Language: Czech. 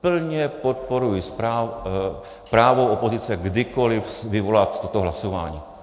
Plně podporuji právo opozice kdykoli vyvolat toto hlasování.